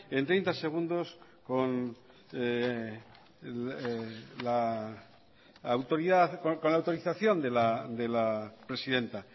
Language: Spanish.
en treinta segundos con la autorización de la presidenta